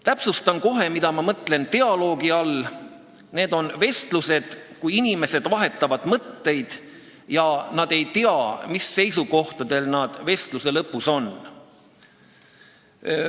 Täpsustan kohe, mida ma mõtlen dialoogi all: need on vestlused, kus inimesed vahetavad mõtteid, ja nad ei tea, mis seisukohtadel nad vestluse lõpus on.